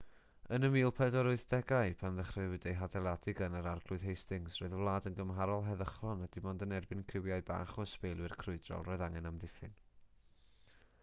yn y 1480au pan ddechreuwyd ei hadeiladu gan yr arglwydd hastings roedd y wlad yn gymharol heddychlon a dim ond yn erbyn criwiau bach o ysbeilwyr crwydrol roedd angen amddiffyn